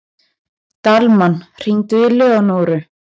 Dalmann, hringdu í Leónóru.